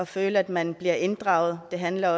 føle at man bliver inddraget og det handler